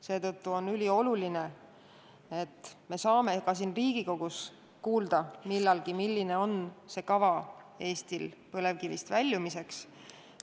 Seetõttu on ülioluline, et me saame siin Riigikogus millalgi kuulda, milline on Eesti kava põlevkivitööstusest väljumiseks.